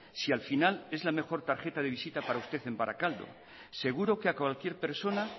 si al final es la mejor tarjeta de visita para usted en barakaldo seguro que a cualquier persona